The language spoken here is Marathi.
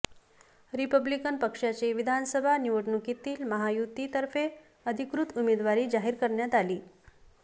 रिपब्लिकन पक्षाचे विधानसभा निवडणुकीतील महायुती तर्फे अधिकृत उमेदवारी जाहीर करण्यात आली